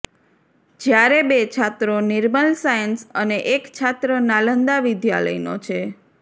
જયારે બે છાત્રો નિર્મલ સાયન્સ અને એક છાત્ર નાલંદા વિદ્યાલયનો છે